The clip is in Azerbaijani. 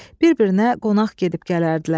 Bir-birinə qonaq gedib gələrdilər.